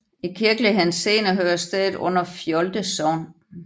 I kirkelig henseende hører stedet under Fjolde Sogn